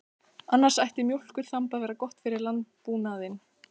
Annars ætti mjólkurþamb að vera gott fyrir landbúnaðinn.